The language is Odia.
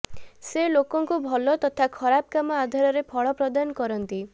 ସେ ଲୋକଙ୍କୁ ଭଲ ତଥା ଖରାପ କାମ ଆଧାରରେ ଫଳ ପ୍ରଦାନ କରନ୍ତି